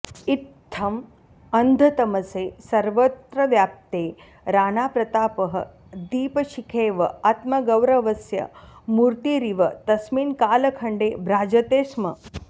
इत्थम् अन्धतमसे सर्वत्र व्याप्ते राणाप्रतापः दीपशिखेव आत्मगौरवस्य मूर्तिरिव तस्मिन् कालखण्डे भ्राजते स्म